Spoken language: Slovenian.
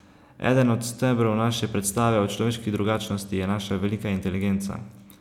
Eden od stebrov naše predstave o človeški drugačnosti je naša velika inteligenca.